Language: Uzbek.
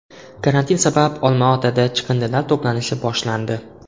Karantin sabab Olmaotada chiqindilar to‘planishi boshlandi.